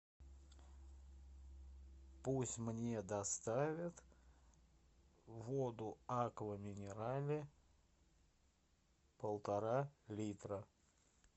пусть мне доставят воду аква минерале полтора литра